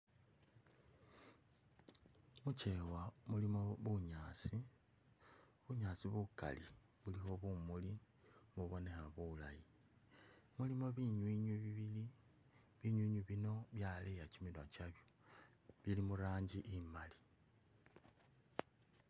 Muchewa mulimo bunyaasi, bunyaasi bukali bulikho bumuli, bubonekha bulayi, mulimo binywinywi bibili, binywinywi bino byaleya chiminwa chabyo bili muranji imali